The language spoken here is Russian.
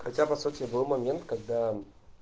хотя по сути был момент когда